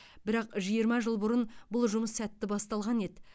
бірақ жиырма жыл бұрын бұл жұмыс сәтті басталған еді